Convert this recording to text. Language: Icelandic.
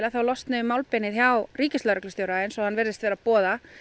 að þá losni um málbeinið hjá ríkislögreglustjóra eins og hann virðist vera að boða